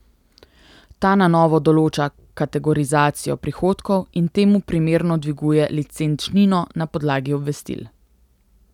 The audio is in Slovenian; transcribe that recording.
Ta na novo določa kategorizacijo prihodkov in temu primerno dviguje licenčnino na podlagi obvestil.